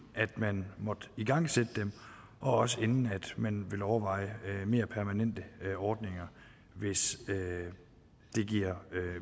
man måtte igangsætte dem også inden man vil overveje mere permanente ordninger hvis det giver